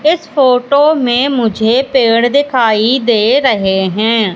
इस फोटो में मुझे पेड़ दिखाई दे रहे हैं।